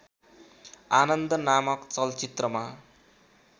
आनन्द नामक चलचित्रमा